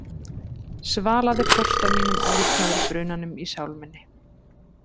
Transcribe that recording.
Svalaðir þorsta mínum og líknaðir brunanum í sál minni.